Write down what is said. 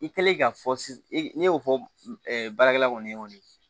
I kɛlen ka fɔ ne y'o fɔ baarakɛla kɔni ye